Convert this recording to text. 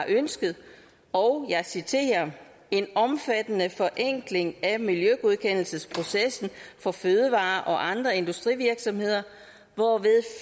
ønsket og jeg citerer en omfattende forenkling af miljøgodkendelsesprocessen for fødevare og andre industrivirksomheder hvorved